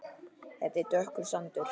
Þetta er dökkur sandur.